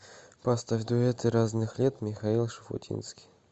поставь дуэты разных лет михаил шуфутинский